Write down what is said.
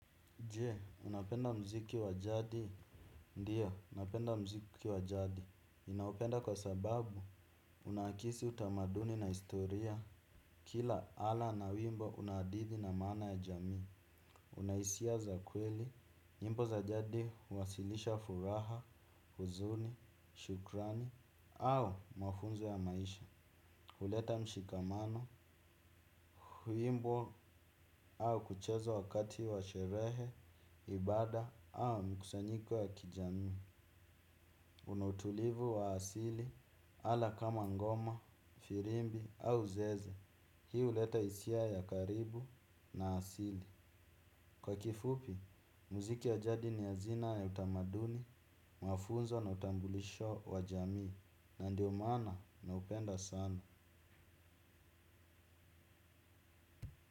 Jee, unapenda mziki wajadi? Ndio, napenda mziki wajadi, ninaupenda kwa sababu, unanakisi utamaduni na historia, kila ala na wimbo una hadithi na maana ya jamii, unahisia za kweli, nyimbo za jadi huwasilisha furaha, huzuni, shukrani au mafunzo ya maisha. Huleta mshikamano, huimbwa au kuchezwa wakati wa sherehe, ibada au mkusanyiko ya kijamii. Unautulivu wa asili ala kama ngoma, firimbi au zeze. Hii huleta hisia ya karibu na asili. Kwa kifupi, mziki ya jadi ni hazina ya utamaduni, mafunzo na utambulisho wa jamii. Na ndio maana na upenda sana.